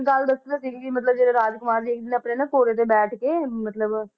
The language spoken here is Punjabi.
ਗੱਲ ਦੱਸੀ ਤਾਂ ਸੀਗੀ ਕਿ ਮਤਲਬ ਜਿਹੜੇ ਰਾਜਕੁਮਾਰ ਆਪਣੇ ਨਾ ਘੋੜੇ ਤੇ ਬੈਠ ਕੇ ਮਤਲਬ